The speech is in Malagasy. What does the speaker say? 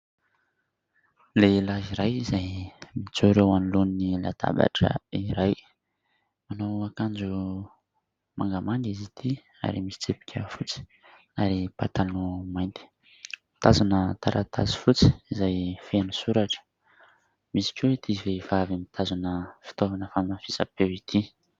Lehilahy iray izay mijoro eo anoloan'ny latabatra iray. Manao akanjo mangamanga izy ity ary misy tsipika fotsy ary pataloha mainty. Mitazona taratasy fotsy izay feno soratra. Misy koa ity vehivavy mitazona fitaovana fanamafisam-peo ity.